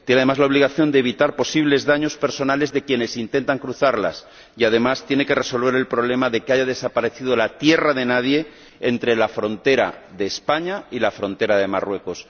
tiene, además, la obligación de evitar posibles daños personales de quienes intentan cruzarlas y, además, tiene que resolver el problema de que haya desaparecido la tierra de nadie entre la frontera de España y la frontera de Marruecos.